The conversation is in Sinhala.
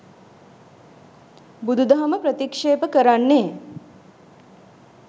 බුදුදහම ප්‍රතික්‍ෂේප කරන්නේ